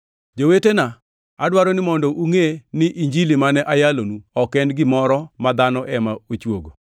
Jowetena, adwaro ni mondo ungʼe ni Injili mane ayalonu ok en gimoro ma dhano ema ochuogo.